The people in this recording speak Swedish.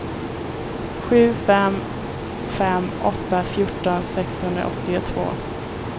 sju fem fem åtta fjorton sexhundraåttiotvå